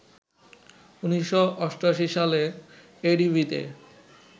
১৯৮৮ সালে এডিবিতে